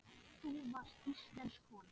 Þú varst íslensk kona.